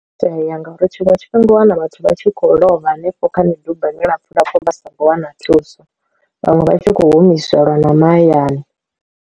Itea ngauri tshiṅwe tshifhinga u wana vhathu vha tshi khou lovha hanefho kha midubani lapfu lapfu vha songo wana thuso, vhaṅwe vha tshi kho humiselwa na mahayani.